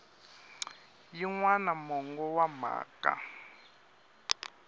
yin wana mongo wa mhaka